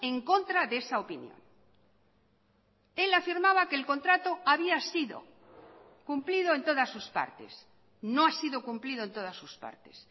en contra de esa opinión él afirmaba que el contrato había sido cumplido en todas sus partes no ha sido cumplido en todas sus partes